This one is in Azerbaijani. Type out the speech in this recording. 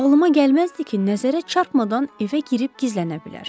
Ağlıma gəlməzdi ki, nəzərə çarpmadan evə girib gizlənə bilər.